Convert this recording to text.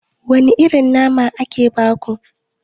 Wane irin nama aka baku?